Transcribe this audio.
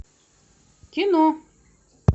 кино